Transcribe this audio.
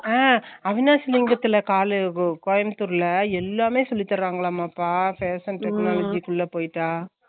அஹ் அவனாசிலிங்கம்ல college ல கோயம்புத்தூர்ல எல்லாமே சொல்லி தரங்காலமா பா அஹ் சொல்லிருக்கன்களே ஷீலா அக்காஅஹ் சொல்லிருக்கன்களே ஷீலா அக்கா